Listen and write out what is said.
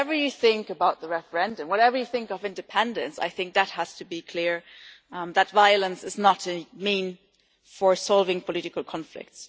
Whatever you think about the referendum, whatever you think of independence, I think that has to be clear that violence is not a mean for solving political conflict.